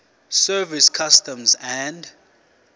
service customs and